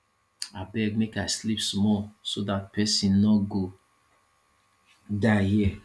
abeg make i sleep small so dat person no go die here